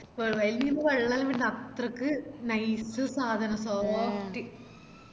വായിന്ന് വെള്ളം വന്ന് അത്രക്കും nice സാധനം soft